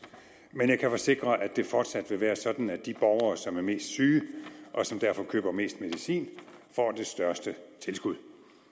men jeg kan forsikre om at det fortsat vil være sådan at de borgere som er mest syge og som derfor køber mest medicin får det største tilskud